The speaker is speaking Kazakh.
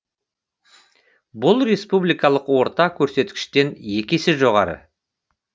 бұл республикалық орта көрсеткіштен екі есе жоғары